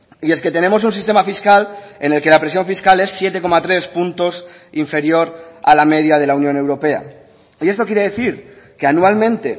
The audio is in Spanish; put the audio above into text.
y es que tenemos un sistema fiscal en el que la presión fiscal es siete coma tres puntos inferior a la media de la unión europea y esto quiere decir que anualmente